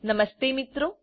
નમસ્તે મિત્રો